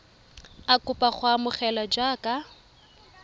a kopa go amogelwa jaaka